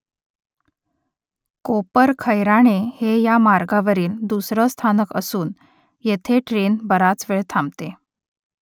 कोपरखैराणे हे या मार्गावरील दुसरं स्थानक असून येथे ट्रेन बराच वेळ थांबते